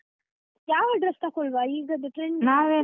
ಯಾವ dress ತಕೊಳುವ ಈಗದ್ದು .